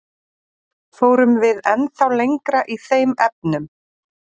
Fórum við ennþá lengra í þeim efnum?